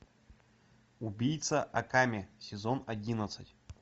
убийца акаме сезон одиннадцать